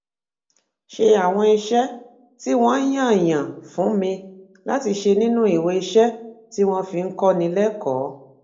ṣe àwọn iṣé tí wón yàn yàn fún mi láti ṣe nínú iweiṣẹ tí wón fi ń kóni lékòó